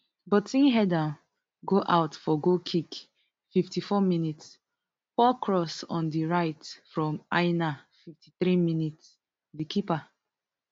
but im head am go out for goal kick fifty-four minis poor cross on di right from aina fifty-three minis di keeper